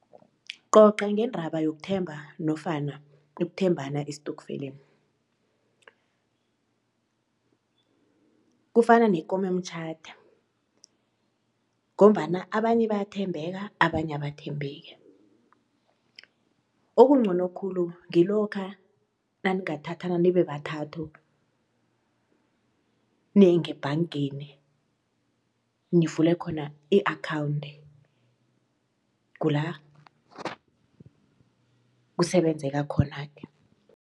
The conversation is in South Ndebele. Coca ngendaba yokuthemba nofana ekuthembana estokfeleni. Kufana nekomemtjhade ngombana abanye bayathembeka abanye abathembeki okuncono khulu ngilokha naningathathana nibe bathathu niye ngebhangeni nivule khona i-akhawunti kula kusebenzeka khona-ke.